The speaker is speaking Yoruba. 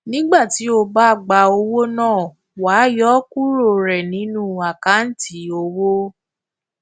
nígbà tí o bá gba owó náà wàá yọ ọ kúrò rẹ nínú àkántì owó